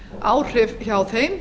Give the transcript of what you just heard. áhrif hjá þeim